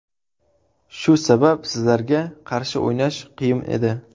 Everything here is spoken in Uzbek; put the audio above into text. Shu sabab sizlarga qarshi o‘ynash qiyin edi.